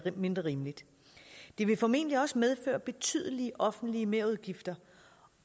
mindre rimeligt det vil formentlig også medføre betydelige offentlige merudgifter